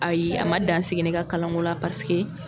Ayi a man dansigi ne ka kalanko la paseke